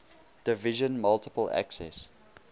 division multiple access